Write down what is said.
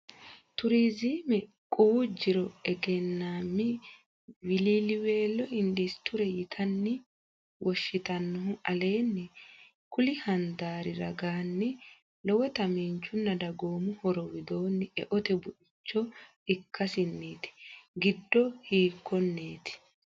Turizime quwu jiro egennaammi wiliiliweelo industire yitanni woshshi tannohu aleenni kulli handaari ragaanni lowota miinjunna dagoomu horo widoonni eote buicho ikkasinniiti, giddo hiikkonneeti?